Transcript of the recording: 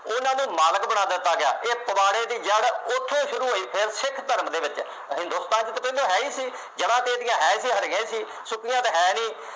ਉਹਨਾ ਨੂੰ ਮਾਲਕ ਬਣਾ ਦਿੱਤਾ ਗਿਆ। ਇਹ ਪਵਾੜੇ ਦੀ ਜੜ੍ਹ ਉੱਥੋ ਸ਼ੁਰੂ ਹੋਈ ਫੇਰ ਸਿੱਖ ਧਰਮ ਦੇ ਵਿੱਚ, ਹਿੰਦੁਸਤਾਨ ਚ ਤਾਂ ਪਹਿਲਾ ਹੈ ਹੀ ਸੀ, ਜਮਾਂਦੇਤੀਆਂ ਹੈ ਜਾਂ ਹਾਰ ਗਏ ਸੀ। ਸੁੱਕੀਆਂ ਤਾਂ ਹੈ ਨਹੀਂ,